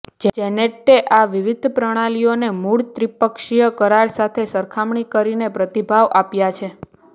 Jeanette આ વિવિધ પ્રણાલીઓને મૂળ ત્રિપક્ષીય કરાર સાથે સરખામણી કરીને પ્રતિભાવ આપ્યા છે